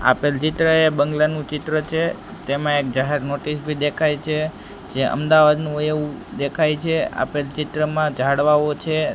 આપેલુ ચિત્ર એ બંગલાનું ચિત્ર છે તેમા એક જાહેર નોટિસ ભી દેખાઈ છે જે અમદાવાદનુ હોઇ એવુ દેખાઈ છે આપેલ ચિત્રમાં ઝાડવાઓ છે.